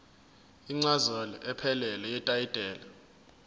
incazelo ephelele yetayitela